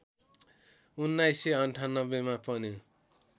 १९९८ मा पनि